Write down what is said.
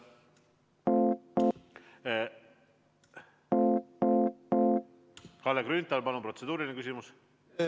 Kalle Grünthal, palun protseduuriline küsimus!